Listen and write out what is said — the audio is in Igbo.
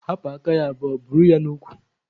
Hapụ aka ya buru ya n'ụkwụ!